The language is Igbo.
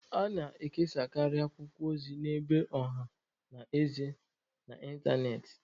A na-ekesakarị akwụkwọ ozi n'ebe ọha na eze na n'ịntanetị.